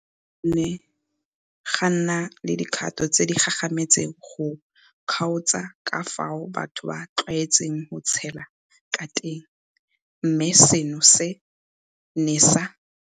Go ne ga nna le dikgato tse di gagametseng go kgaotsa ka fao batho ba tlwaetseng go tshela ka teng mme seno se ne sa.